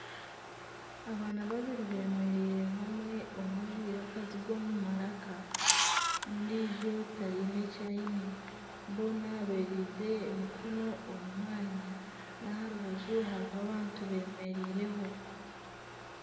Abaana babiri bemereire hamwe omwe ajwaire akaziga omu maraka n'ondiijo tayine eki aine boona bereize emikono omu mwanya n'aha rubaju hariho abantu bemereireho.